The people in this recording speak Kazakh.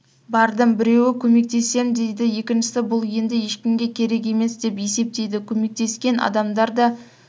бардым біреуі көмектесем дейді екіншісі бұл енді ешкімге керек емес деп есептейді көмектескен адамдар да